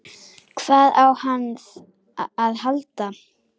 Hvað á hann að halda?